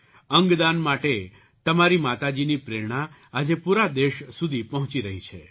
અંગદાન માટે તમારી માતાજીની પ્રેરણા આજે પૂરા દેશ સુધી પહોંચી રહી છે